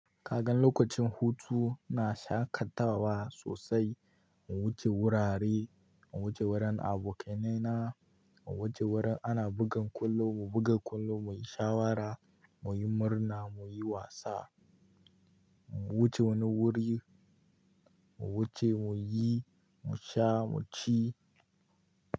Kagan lokacin hutu na shaƙatawa sosai. Mu wuce wurare, mu wuce wurin abokaina, mu wuce wurin ana bugan kwallo, mu buga kwallo, mu yi shawara, mu yi murna, mu yi wasa, mu wuce wani wuri, mu wuce mu yi, mu sha, mu ci.